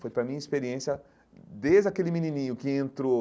Foi para a minha experiência, desde aquele menininho que entrou